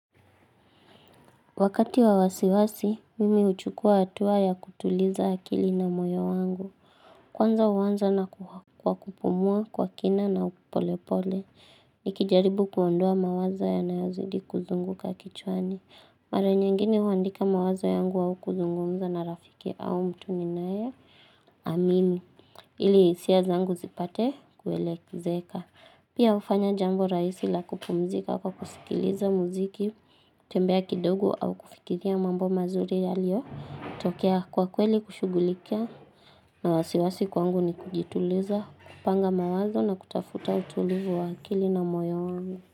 Wakati wa wasiwasi, mimi huchukua hatua ya kutuliza akili na moyo wangu. Kwanza huanza na kwa kupumua, kwa kina na polepole. Nikijaribu kuondoa mawazo yanayozidi kuzunguka kichwani. Maranyengine huandika mawazo yangu au kuzungumza na rafiki au mtu ninaye. Amini. Ili hisia zangu zipate kuelezeka. Pia hufanya jambo rahisi la kupumzika kwa kusikiliza muziki, kutembea kidogo au kufikiria mambo mazuri yaliotokea kwa kweli kushugulikia na wasiwasi kwangu ni kujituliza, kupanga mawazo na kutafuta utulivu wa akili na moyo wangu.